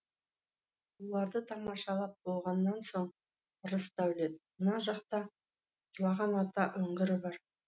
осыларды тамашалап болғаннан соң рысдәулет мына жақта жылаған ата үңгірі бар